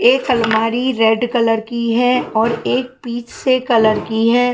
एक अलमारी red colour की है और एक पीच से कलर की है।